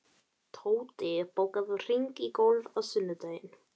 Tóti, bókaðu hring í golf á sunnudaginn.